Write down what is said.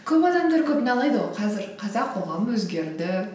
көп адамдар көп налиды ғой қазір қазақ қоғамы өзгерді